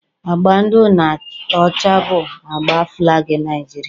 Agba ndụ na ọcha bụ agba falgi Niajiria